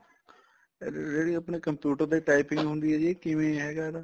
ਇਹਦੇ ਜਿਹੜੀ ਆਪਣੀ computer ਤੇ typing ਆਉਂਦੀ ਏ ਜੀ ਕਿਵੇਂ ਹੈਗਾ ਇਹਦਾ